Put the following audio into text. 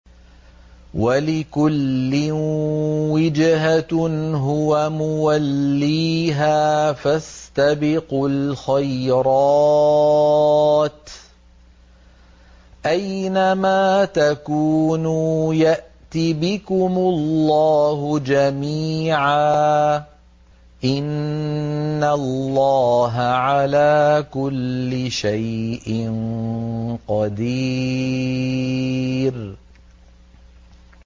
وَلِكُلٍّ وِجْهَةٌ هُوَ مُوَلِّيهَا ۖ فَاسْتَبِقُوا الْخَيْرَاتِ ۚ أَيْنَ مَا تَكُونُوا يَأْتِ بِكُمُ اللَّهُ جَمِيعًا ۚ إِنَّ اللَّهَ عَلَىٰ كُلِّ شَيْءٍ قَدِيرٌ